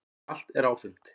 Malt er áfengt.